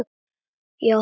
Ég á hana ekki.